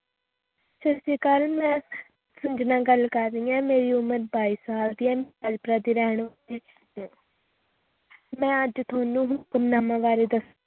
ਸਤਿ ਸ੍ਰੀ ਅਕਾਲ ਮੈਂ ਸੰਜਨਾ ਗੱਲ ਕਰ ਰਹੀ ਆ ਮੇਰੀ ਉਮਰ ਬਾਈ ਸਾਲ ਦੀ ਹੈ ਮੈਂ ਦੀ ਰਹਿਣ ਵਾਲ਼ੀ ਹੈ ਮੈਂ ਅੱਜ ਤੁਹਾਨੂੰ ਹੁਕਮਨਾਮਾ ਵਾਰੇ ਦਸਣਾ